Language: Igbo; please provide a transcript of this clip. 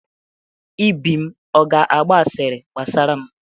Ibim ọ ga-agba asịrị gbasara m?